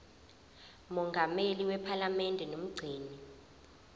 mongameli wephalamende nomgcini